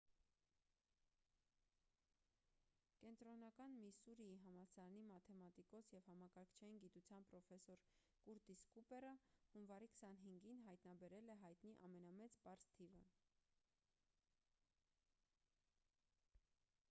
կենտրոնական միսսուրիի համալսարանի մաթեմատիկոս և համակարգչային գիտության պրոֆեսոր կուրտիս կուպերը հունվարի 25-ին հայտնաբերել է հայտնի ամենամեծ պարզ թիվը